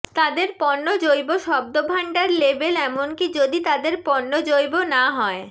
তাদের পণ্য জৈব শব্দভান্ডার লেবেল এমনকি যদি তাদের পণ্য জৈব না হয়